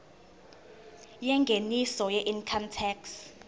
yengeniso weincome tax